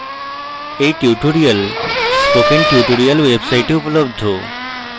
এই tutorial spoken tutorial website উপলব্ধ